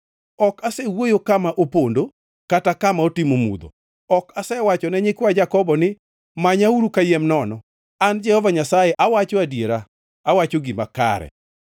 Ok asewuoyo kama opondo, kata kama otimo mudho; ok asewachone nyikwa Jakobo ni, ‘Manyauru kayiem nono.’ An, Jehova Nyasaye, awacho adiera; awacho gima kare.